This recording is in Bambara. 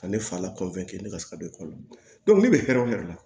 Ka ne fa la ne ka se ka don ekɔli la ne bɛ hɛrɛ de la